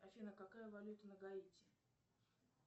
афина какая валюта на гаити